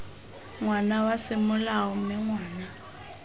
ngwana wa semolao mme ngwana